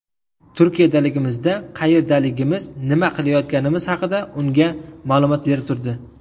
Turkiyadaligimizda qayerdaligimiz, nima qilayotganimiz haqida unga ma’lumot berib turdi.